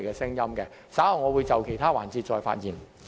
稍後我會在其他環節再發言。